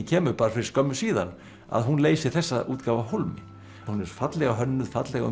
kemur bara fyrir skömmu síðan að hún leysir þessa útgáfu af hólmi hún er fallega hönnuð fallega